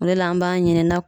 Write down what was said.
O de la an b'a ɲini na